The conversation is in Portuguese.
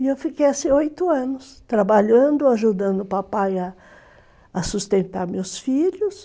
E eu fiquei assim oito anos, trabalhando, ajudando o papai a a sustentar meus filhos.